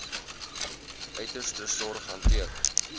uiterste sorg hanteer